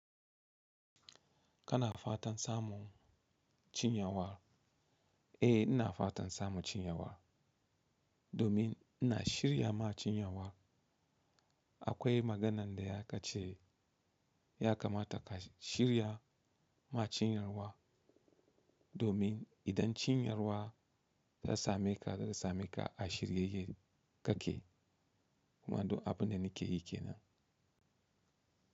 Kana fatan samun cinyawa? Eh ina fatan samun cinyawa domin ina shirya ma cinyawa. Akwai maganan da ya kace ya kamata ka shirya ma cinyawa domin idan cinyarwa ya same ka, zai same ka a shiryayye kake. Kuma don abin da nake yi kenan.